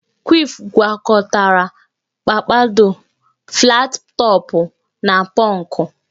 Kwif gwakọtara pampadọ, flatị tọpụ na pọnkụ.